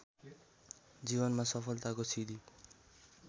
जीवनमा सफलताको सिंढी